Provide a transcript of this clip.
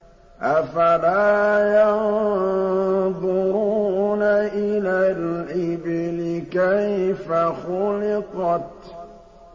أَفَلَا يَنظُرُونَ إِلَى الْإِبِلِ كَيْفَ خُلِقَتْ